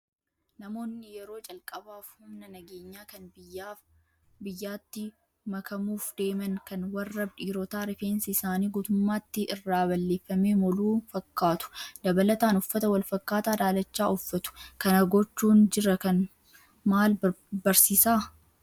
Namoonni yeroo calqabaaf humna nageenyaa kan biyyaatti makamuuf deeman kan warra dhiirotaa rifeensi isaanii guutummaatti irraa balleeffamee moluu fakkaatu. Dabalataan uffata wal fakkaataa daalacha uffatu. Kana gochuun jara kan maal barsiisaa?